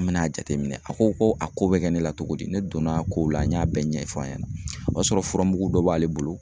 An bɛna jateminɛ a ko ko a ko bɛ kɛ ne la togo di, ne donna a ko la n y'a bɛɛ ɲɛfɔ a ɲɛna, o y'a sɔrɔ fura mugu dɔ b'ale bolo